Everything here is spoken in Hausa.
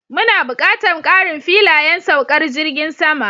Muna buƙatar ƙarin filayen saukar jirgin sama